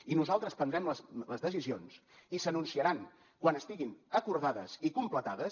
i nosaltres prendrem les decisions i s’anunciaran quan estiguin acordades i completades